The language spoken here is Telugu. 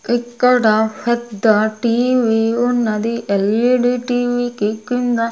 ఇక్కడ పెద్ద టీ_వీ ఉన్నది ఎల్_ఈ_డి టీ_వీ కి కింద.